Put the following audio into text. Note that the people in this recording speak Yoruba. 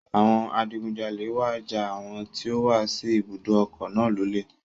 Àwọn adigunjalẹ̀ wá ja àwọn tí ó wà sí ibùdó òkun náà lólè.